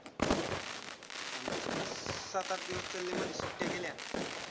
आमचे मस्त सात आठ दिवस चालले मध्ये सुट्ट्या गेल्या.